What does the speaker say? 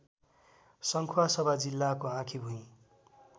सङ्खुवासभा जिल्लाको आँखीभुई